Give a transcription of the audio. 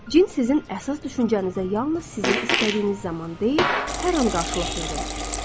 Cin sizin əsas düşüncənizə yalnız sizin istədiyiniz zaman deyil, hər an qarşılıq verir.